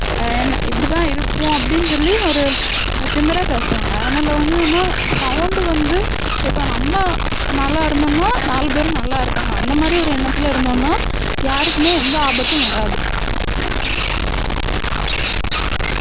அஹ் என்ன இப்படித்தான் இருப்போம் அப்படின்னு சொல்லி ஒரு திமிரா பேசுவாங்க அதனால வந்து நம்ம sound வந்து இப்ப நம்ம நல்லா இருந்திருந்தா நாலு பேரும் நல்லா இருப்பாங்க அந்த மாதிரி ஒரு எண்ணத்துல இருந்தோம்னா யாருக்குமே எந்த ஆபத்தும் வராது